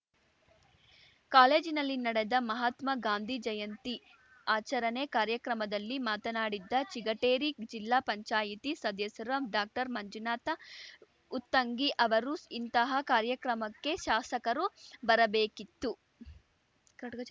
ಕಾಲೇಜಿನಲ್ಲಿ ನಡೆದ ಮಹಾತ್ಮ ಗಾಂಧೀ ಜಯಂತಿ ಆಚರಣೆ ಕಾರ್ಯಕ್ರಮದಲ್ಲಿ ಮಾತನಾಡಿದ್ದ ಚಿಗಟೇರಿ ಜಿಲ್ಲಾಪಂಚಾಯ್ತಿ ಸದಸ್ಯ ಡಾಕ್ಟರ್ಮಂಜುನಾಥ ಉತ್ತಂಗಿ ಅವರು ಇಂತಹ ಕಾರ್ಯಕ್ರಮಕ್ಕೆ ಶಾಸಕರು ಬರಬೇಕಿತ್ತು